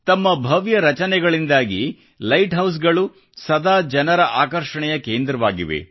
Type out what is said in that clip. ತಮ್ಮ ಭವ್ಯ ರಚನೆಗಳಿಂದಾಗಿ ಲೈಟ್ ಹೌಸ್ಗಳು ಸದಾ ಜನರ ಆಕರ್ಷಣೆಯ ಕೇಂದ್ರವಾಗಿವೆ